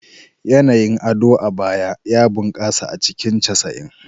Yanayin ado a Aba ya bunƙasa a cikin 90s.